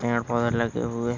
पेड़ पौधे लगे हुए --